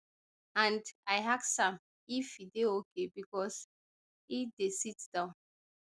and i ask am if e dey okay becos e dey sit down